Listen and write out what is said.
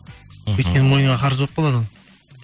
мхм өйткені мойныңа қарыз болып қалады ол